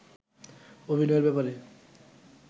অভিনয়ের ব্যাপারে